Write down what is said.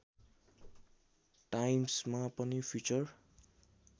टाइम्समा पनि फिचर